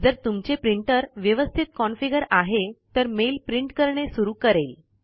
जर तुमचे प्रिंटर व्यवस्तीत कॉनफिगर आहे तर मेल प्रिंट करणे सुरु करेल